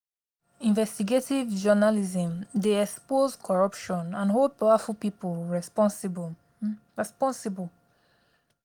investigative journalism dey expose corruption and hold powerful people responsible. responsible.